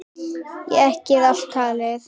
Og ekki er allt talið.